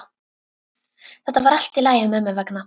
Þetta verður allt í lagi mömmu vegna.